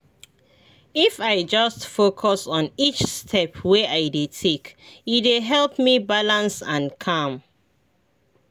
if i just focus on each step wey i dey take e dey help me balance and calm.